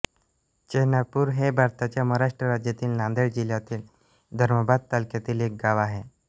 चेनापूर हे भारताच्या महाराष्ट्र राज्यातील नांदेड जिल्ह्यातील धर्माबाद तालुक्यातील एक गाव आहे